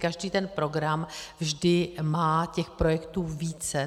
Každý ten program vždy má těch projektů více.